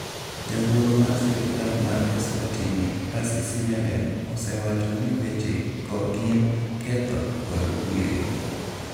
"Jawuoro mar sirikal mar Eswatini Percy Simelane osewacho ni weche go gin "ketho" kod "kwiri".